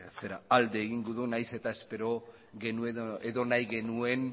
alde egingo du nahiz eta espero genuen edo nahi genuen